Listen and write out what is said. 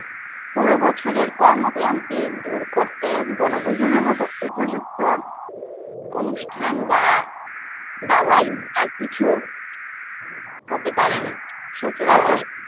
পুর বছের কর্ম কান্তি দূর করতে বনভূজনের মতো উপযুক্ত অনুষ্ঠান বা দাওয়াই আর কিছু হতে পারে না।